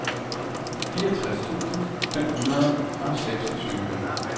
fireogtres tusind fem hundrede og seksogtyve